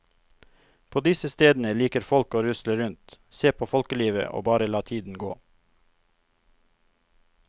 På disse stedene liker folk å rusle rundt, se på folkelivet og bare la tiden gå.